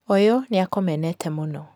ũyũ nĩakũmenete mũno